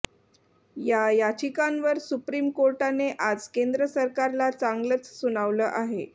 या याचिकांवर सुप्रीम कोर्टाने आज केंद्र सरकारला चांगलच सुनावलं आहे